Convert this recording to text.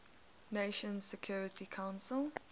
nations security council